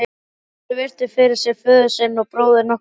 Ari virti fyrir sér föður sinn og bróður nokkra stund.